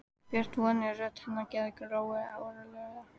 Björt vonin í rödd hennar gerði Lóu órólega.